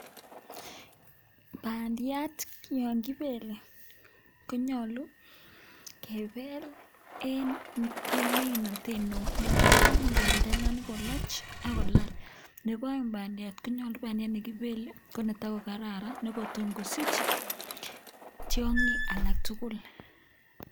Bandiat yon kibele, konyolu kebel en ming'inotet neo. Ne tai komuch bandiani koloch agolal. Nebo oeng bandiat, konyolu bandiat ne kibele ko netogokararan ne kotomkosich tiong'ik alak tugul.